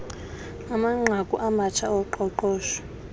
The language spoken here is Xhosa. amanqaku amatsha oqoqosho